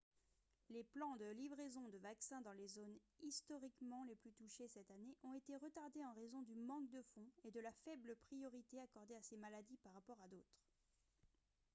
les plans de livraison de vaccins dans les zones historiquement les plus touchées cette année ont été retardés en raison du manque de fonds et de la faible priorité accordée à ces maladies par rapport à d'autres